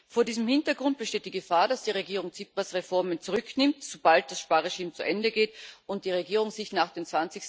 Vor diesem Hintergrund besteht die Gefahr, dass die Regierung Tsipras Reformen zurücknimmt, sobald das Sparregime zu Ende geht und die Regierung sich nach dem